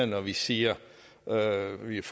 når vi siger at vi er